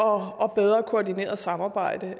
og bedre koordineret samarbejde